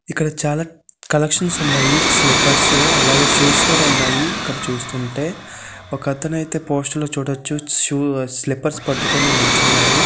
ఇక్కడ చాలా క కలెక్షన్స్ ఉన్నాయి స్లిప్పేర్స్ అలాగే షూస్ కూడా ఉన్నాయి ఇక్కడ చూస్తుంటే ఒక అతను అయితే పోస్టర్ లా చూడచ్చు స్లిప్పేర్స్ పట్టుకొని నించున్నారు.